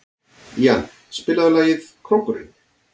Ían, spilaðu lagið „Krókurinn“.